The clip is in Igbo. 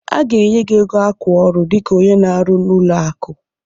A ga-enwe gị ego akwa ọrụ dịka onye na-arụ n'ụlọ akụ.